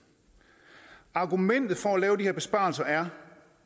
argumentet for at lave de her besparelser er